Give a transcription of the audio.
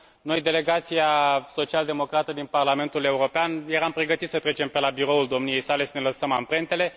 Noi, delegația social democrată din Parlamentul European, eram pregătiți să trecem pe la biroul domniei sale să ne lăsăm amprentele.